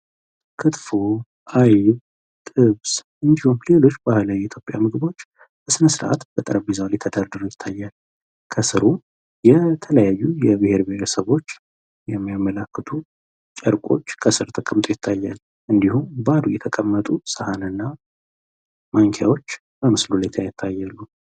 ክትፎ አይብ ጥብስ እንዲሁም ለሎች ባህላዊ የኢትዮጵያ ምግቦች በስነስርአት በጠረጰዛው ላይ ተደርድረው ይታያል። ከስሩም የተለያዩ የብሄር ብሄረሰቦች የሚያመላክቱ ጨርቆች ከስር ተቀምጦ ይታያል፤ እንዲሁም ባዶ ሆኖ የተቀመጡ ሳህንና ማንኪያዎች በምስሉ ላይ ይታያሉ።